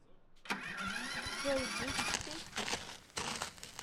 джой бусти